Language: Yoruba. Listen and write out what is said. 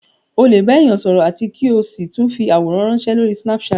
Ó lè bá èèyàn sọ̀rọ̀ àti kí o sì tún fi àwòrán ránsẹ́ lórí snapchat